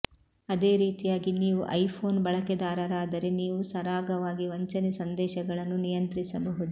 ಅದೇ ರೀತಿಯಾಗಿ ನೀವು ಐ ಫೋನ್ ಬಳಕೆದಾರರಾದರೆ ನೀವು ಸರಾಗವಾಗಿ ವಂಚನೆ ಸಂದೇಶಗಳನ್ನು ನಿಯಂತ್ರಿಸಬಹುದು